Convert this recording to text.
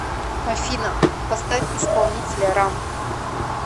афина поставь исполнителя рам